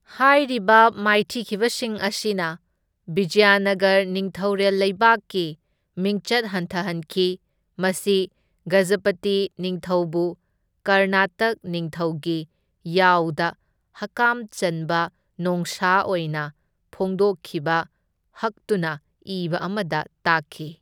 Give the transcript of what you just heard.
ꯍꯥꯏꯔꯤꯕ ꯃꯥꯏꯊꯤꯈꯤꯕꯁꯤꯡ ꯑꯁꯤꯅ ꯕꯤꯖꯌꯥꯅꯒꯔ ꯅꯤꯡꯊꯧꯔꯦꯜ ꯂꯩꯕꯥꯛꯀꯤ ꯃꯤꯡꯆꯠ ꯍꯟꯊꯍꯟꯈꯤ, ꯃꯁꯤ ꯒꯖꯄꯇꯤ ꯅꯤꯡꯊꯧꯕꯨ ꯀꯔꯅꯥꯇꯛ ꯅꯤꯡꯊꯧꯒꯤ ꯌꯥꯎꯗ ꯍꯛꯀꯥꯝ ꯆꯟꯕ ꯅꯣꯡꯁꯥ ꯑꯣꯏꯅ ꯐꯣꯡꯗꯣꯛꯈꯤꯕ ꯍꯛꯇꯨꯅ ꯏꯕ ꯑꯃꯗ ꯇꯥꯛꯈꯤ꯫